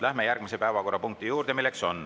Läheme järgmise päevakorrapunkti juurde.